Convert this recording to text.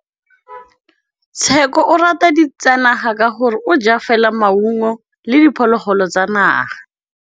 Tshekô o rata ditsanaga ka gore o ja fela maungo le diphologolo tsa naga.